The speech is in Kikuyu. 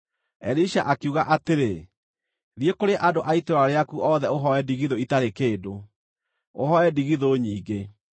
Elisha akiuga atĩrĩ, “Thiĩ kũrĩ andũ a itũũra rĩaku othe ũhooe ndigithũ itarĩ kĩndũ. Ũhooe ndigithũ nyingĩ.